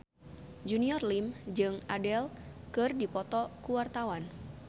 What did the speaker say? Junior Liem jeung Adele keur dipoto ku wartawan